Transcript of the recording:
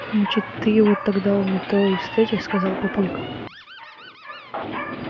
значит ты его тогда у метро и встретишь сказал папулька